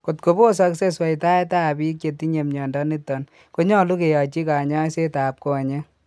Kotko bosoksei sweitaet ab biik chetinye mnyondo niton konyolu kiyachi kanyaiset ab konyeek